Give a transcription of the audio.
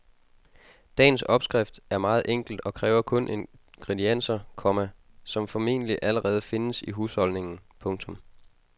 Dagens opskrift er meget enkel og kræver kun ingredienser, komma som formentlig allerede findes i husholdningen. punktum